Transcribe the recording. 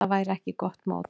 Það væri ekki gott mót.